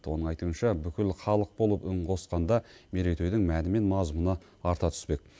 оның айтуынша бүкіл халық болып үн қосқанда мерейтойдың мәні мен мазмұны арта түспек